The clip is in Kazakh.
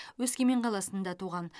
өскемен қаласында туған